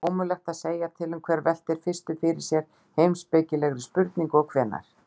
Ómögulegt er að segja til um hver velti fyrstur fyrir sér heimspekilegri spurningu og hvenær.